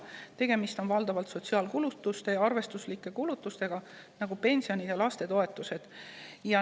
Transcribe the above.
Tegemist on valdavalt sotsiaalkulutuste ja arvestuslike kulutustega, nagu pensionid ja lastetoetused.